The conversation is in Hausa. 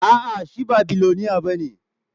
A'a, shi ba miloniya ba ne